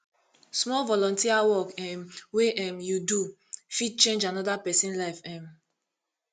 small volunteer work um wey um you do fit change anoda pesin life um